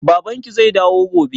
Babanki zai dawo gobe?